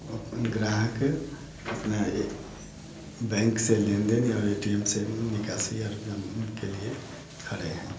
अ प ग्राहक अपना ए बैंक से लेन-देन और ए.टी.एम से निकाल और जम के लिए खड़े हैं।